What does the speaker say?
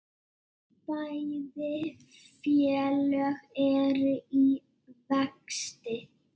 Bæði félög eru í vexti.